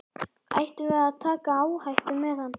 Ættum við að taka áhættu með hann?